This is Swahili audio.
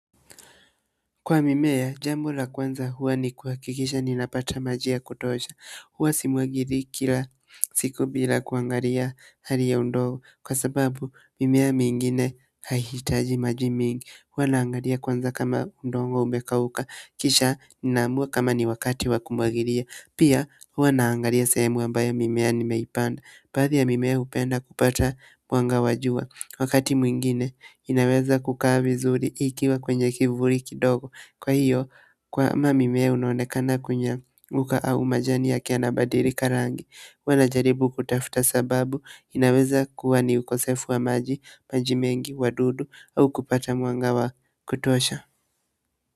Kwa mimea, jambo la kwanza huwa ni kuhakikisha ninapata maji ya kutosha. Huwa simwagili kila siku bila kuangalia hali ya undogo. Kwa sababu mimea mingine haihitaji maji mengi. Huwa naangalia kwanza kama udongo umekauka. Kisha ninaamua kama ni wakati wa kumwagilia. Pia huwa naangalia sehemu ambayo mimea nimeipanda. Baadhi ya mimea hupenda kupata mwanga wa jua. Wakati mwingine, inaweza kukaa vizuri ikiwa kwenye kivuli kidogo. Kwa hiyo, kama mmea unonekana kunyauka au majani yake yanabadilika ikarangi. Huwa najaribu kutafuta sababu, inaweza kuwa ni ukosefu wa maji, maji mengi, wadudu au kupata mwanga wa kutosha.